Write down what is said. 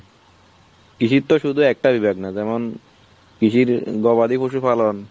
কৃষির তো শুধু একটাই ব্যাগনা যেমন, কৃষি যদি গবাদি পশু পালন।